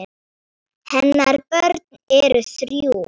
Hennar börn eru þrjú.